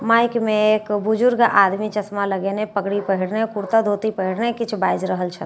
Mic मे एक बुजुर्ग आदमी चश्मा लगएने पगड़ी पहिरने कुर्ता-धोती पहिरने किछ बाईज रहल छथिन।